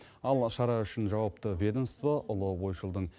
ал шара үшін жауапты ведомство ұлы ойшылдың